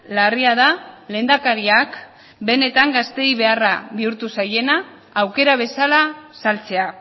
larria da lehendakariak benetan gazteei beharra bihurtu zaiena aukera bezala saltzea